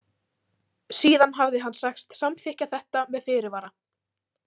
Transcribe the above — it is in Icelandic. Síðan hafði hann sagst samþykkja þetta með fyrirvara.